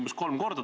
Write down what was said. Aitäh!